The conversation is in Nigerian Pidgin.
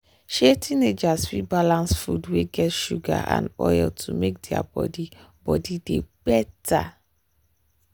um teenagers fit balance food wey get sugar and oil to make their body body dey better.